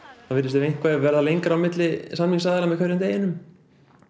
það virðist vera lengra á milli samningsaðila með hverjum deginum